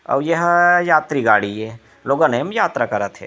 अउ एहा यात्री गाड़ी ए लोगन ए म यात्रा करत हे।